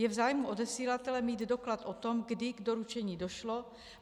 Je v zájmu odesilatele mít doklad o tom, kdy k doručení došlo.